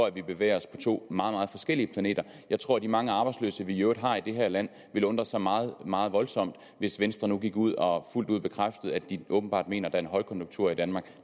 at vi bevæger os på to meget forskellige planeter jeg tror at de mange arbejdsløse vi i øvrigt har i det her land ville undre sig meget meget voldsomt hvis venstre nu gik ud og fuldt ud bekræftede at de åbenbart mener at der er en højkonjunktur i danmark